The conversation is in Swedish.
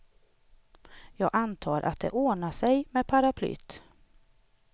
Jag antar att det ordnar sig med paraplyet.